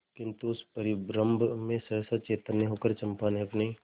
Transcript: किंतु उस परिरंभ में सहसा चैतन्य होकर चंपा ने अपनी